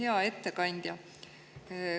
Hea ettekandja!